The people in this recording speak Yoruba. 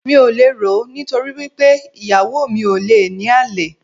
Mi ò le rò ó, nítorí wí pé ìyàwó mi ò le ní àlè.